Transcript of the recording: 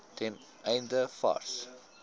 ten einde vars